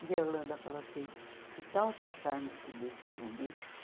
e a Yolanda falou assim, que tal passarmos tudo isso para um livro?